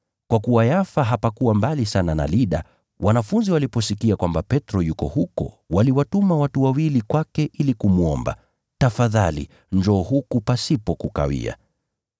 Kwa kuwa Yafa hapakuwa mbali sana na Lida, wanafunzi waliposikia kwamba Petro yuko huko waliwatuma watu wawili kwake ili kumwomba, “Tafadhali njoo huku pasipo kukawia.”